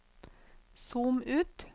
zoom ut